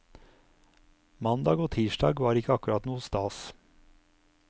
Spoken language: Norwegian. Mandag og tirsdag var ikke akkurat noe stas.